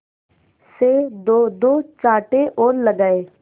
से दोदो चांटे और लगाए